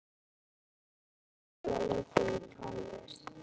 Áhugi Boga liggur í tónlist.